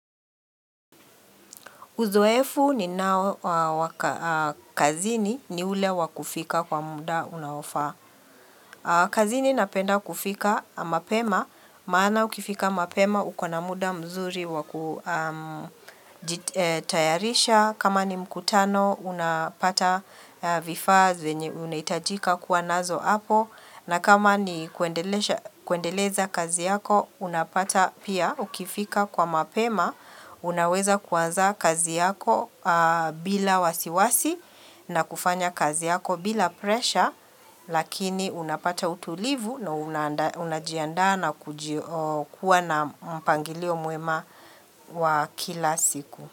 Uzoefu ninao wa kazini ni ule wa kufika kwa muda unaofaa. Kazini napenda kufika mapema, maana ukifika mapema, uko na muda mzuri wa kujitayarisha. Kama ni mkutano, unapata vifaa zenye unahitajika kuwa nazo hapo. Na kama ni kuendelesha kuendeleza kazi yako, unapata pia ukifika kwa mapema, unaweza kuanza kazi yako bila wasiwasi na kufanya kazi yako bila presha, lakini unapata utulivu na unajiandaa na kuji kuwa na mpangilio mwema wa kila siku.